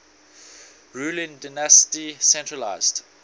ruling dynasty centralised